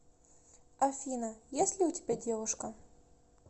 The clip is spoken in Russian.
афина есть ли у тебя девушка